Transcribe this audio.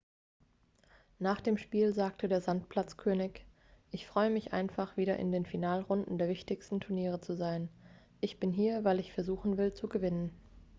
nach dem spiel sagte der sandplatz-könig ich freue mich einfach wieder in den finalrunden der wichtigsten turniere zu sein ich bin hier weil ich versuchen will zu gewinnen